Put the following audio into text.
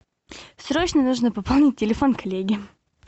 срочно нужно пополнить телефон коллеги